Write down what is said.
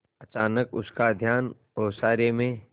अचानक उसका ध्यान ओसारे में